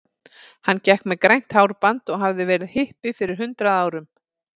Hann gekk með grænt hárband og hafði verið hippi fyrir hundrað árum.